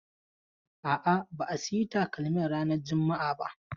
A'a, ba a sayi takalmin ranan juma'a ba.